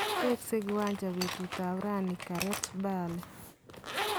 Wekse kiwanja petutap rani Gareth Bale